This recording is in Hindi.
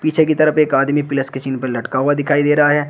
पीछे की तरफ एक आदमी प्लस के चिन्ह पर लटका हुआ दिखाई दे रहा है।